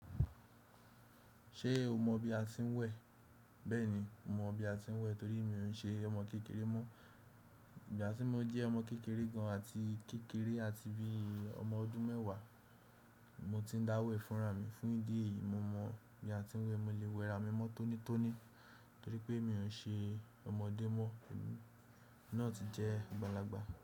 Ṣé o mọ bí a ti ń wẹ̀? Bẹ́ẹ̀ni, mo mọ bí a tí ń wẹ̀ torí mi ò ún ṣe ọmọ kékeré mọ́. Ìgbà tí mo jẹ́ ọmọ kékeré gan an àti kékeré àti bí i ọmọ ọdún mẹ́wàá, mo ti ń dá wẹ̀ fún rà mí. Fún ìdí èyí, mo mọ bí a ti ń wẹ̀. Mo lè wẹ rà mí mọ́ tónítóní torí pé mi ò ún ṣe ọmọdé mọ́. Ẹmi náà ti jẹ́ àgbàlagbà.